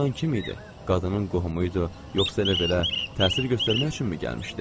Bu cırtdan kim idi, qadının qohumu idi, yoxsa elə-belə təsir göstərmək üçünmü gəlmişdi?